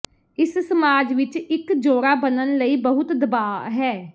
ਇਸ ਸਮਾਜ ਵਿੱਚ ਇੱਕ ਜੋੜਾ ਬਣਨ ਲਈ ਬਹੁਤ ਦਬਾਅ ਹੈ